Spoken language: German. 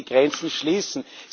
Sie müssen die Grenzen schließen.